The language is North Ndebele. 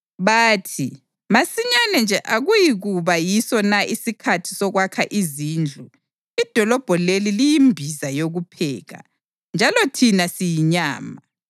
Bathi, ‘Masinyane nje akuyikuba yiso na isikhathi sokwakha izindlu? Idolobho leli liyimbiza yokupheka, njalo thina siyinyama.’